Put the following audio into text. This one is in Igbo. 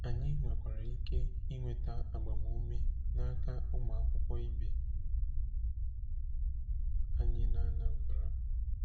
Anyị nwekwara ike nweta agbamume n'aka ụmụ akwụkwọ ibe anyị na Anambra.